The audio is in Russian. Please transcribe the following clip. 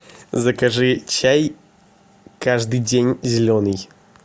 закажи чай каждый день зеленый